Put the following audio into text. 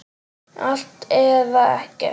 Allt eða ekkert.